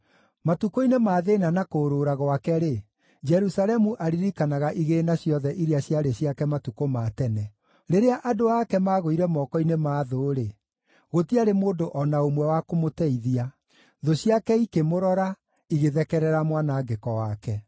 Matukũ-inĩ ma thĩĩna na kũũrũũra gwake-rĩ, Jerusalemu aririkanaga igĩĩna ciothe iria ciarĩ ciake matukũ ma tene. Rĩrĩa andũ ake maagũire moko-inĩ ma thũ-rĩ, gũtiarĩ mũndũ o na ũmwe wa kũmũteithia. Thũ ciake ikĩmũrora, igĩthekerera mwanangĩko wake.